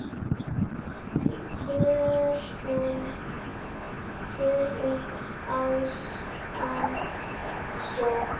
Förum um allan sjó.